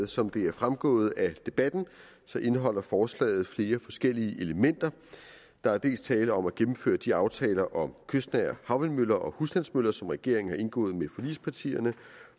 som det er fremgået af debatten indeholder forslaget flere forskellige elementer der er dels tale om at gennemføre de aftaler om kystnære havvindmøller og husstandsmøller som regeringen har indgået med forligspartierne